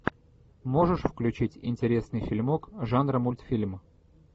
можешь включить интересный фильмок жанра мультфильм